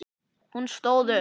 Hún stóð upp.